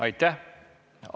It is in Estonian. Aitäh!